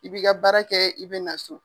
I b'i ka baara kɛ, i be na so.